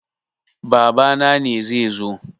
Babana ne zai zo.